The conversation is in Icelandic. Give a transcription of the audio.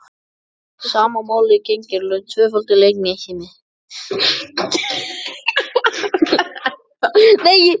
Sama máli gegnir um tvöföldun litningamengja.